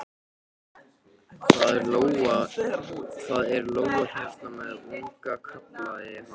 Það er lóa hérna með unga, kallaði hann.